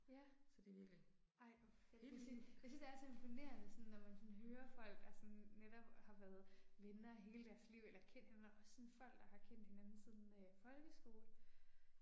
Ja. Ej hvor fængende. Jeg synes det er så imponerende sådan når man sådan hører folk der sådan netop har været venner hele deres liv eller kendt hinanden også sådan folk der har kendt hinanden siden øh folkeskole